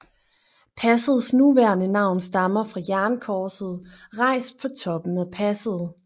Passets nuværende navn stammer fra jernkorset rejst på toppen af passet